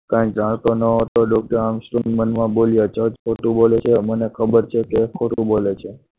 કંઈ જાણતો ન હતો council મનમાં બોલ્યા જજ ખોટું બોલે છે મને ખબર છે કે ખોટું બોલે છે.